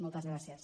moltes gràcies